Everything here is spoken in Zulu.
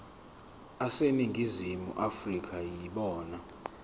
aseningizimu afrika yibona